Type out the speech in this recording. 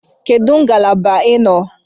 Kedu ngalaba ị nọ?